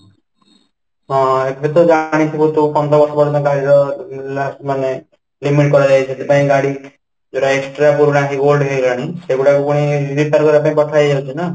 ହଁ, ଏଥିରେ ତ ଜାଣିଥିବ ଯୋଉ ଉଁ ମାନେ କରାଯାଏ ସେଥିପାଇଁ ଯୋଉଟା extra ପୁରୁଣା ସେଇଗୁଡ଼ାକ ପୁଣି ପଠାହେଇଯାଉଛି ନା